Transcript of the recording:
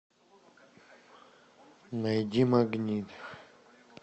найди магнит